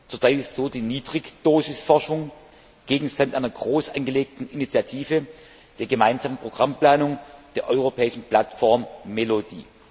Zurzeit ist die Niedrigdosisforschung Gegenstand einer groß angelegten Initiative der gemeinsamen Programmplanung der Europäischen Plattform MELODI.